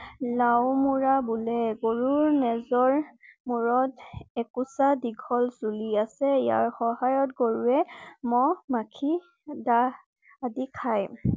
লাউমুৰা বুলে। গৰুৰ নেজৰ মূৰত একুচা দীঘল চুলি আছে। ইয়াৰ সহায়ত গৰুৱে মহ, মখি, দাহ আদি খাই